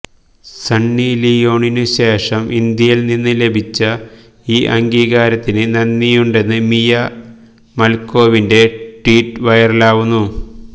സണ്ണി ലിയോണിന് ശേഷം ഇന്ത്യയില് നിന്ന് ലഭിച്ച ഈ അംഗീകാരത്തിന് നന്ദിയുണ്ടെന്ന് മിയ മല്ക്കോവിന്റെ ട്വീറ്റ് വയറലാകുന്നു